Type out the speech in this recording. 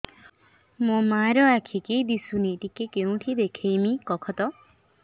ମୋ ମା ର ଆଖି କି ଦିସୁନି ଟିକେ କେଉଁଠି ଦେଖେଇମି କଖତ